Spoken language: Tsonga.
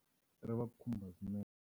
Ri va khumba swinene.